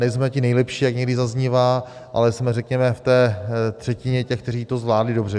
Nejsme ti nejlepší, jak někdy zaznívá, ale jsme, řekněme, v té třetině těch, kteří to zvládli dobře.